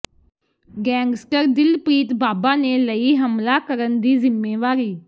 gangster Dilpreet Baba ਨੇ ਲਈ ਹਮਲਾ ਕਰਨ ਦੀ ਜ਼ਿੰਮੇਵਾਰੀ